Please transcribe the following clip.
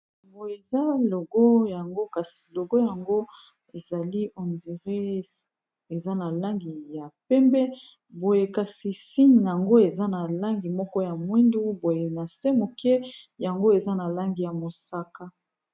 Boye eza logo yango kasi logo yango ezali ondiré eza na langi ya pembe boye kasi signe nango eza na langi moko ya mwindu boye na se moke yango eza na langi ya mosaka.